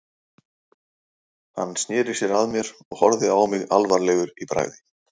Hann sneri sér að mér og horfði á mig alvarlegur í bragði.